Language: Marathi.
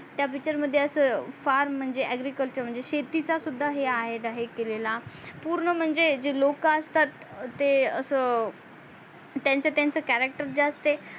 त्या picture मध्ये अस फार म्हणजे agriculture म्हणजे शेतीचा सुद्धा आहे दाहे केलेला पूर्ण म्हणजे जे लोक असतात ते अस त्यांच त्यांच character जे असते